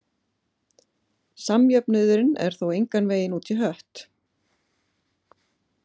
Samjöfnuðurinn er þó engan veginn út í hött.